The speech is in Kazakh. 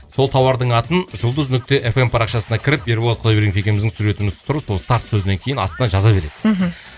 сол тауардың атын жұлдыз нүкте эф эм парақшасына кіріп ерболат құдайбергенов екеуміздің суретіміз тұр сол старт сөзінен кейін астына жаза бересіз мхм